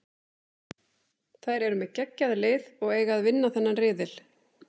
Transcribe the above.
Þær eru með geggjað lið og eiga að vinna þennan riðil.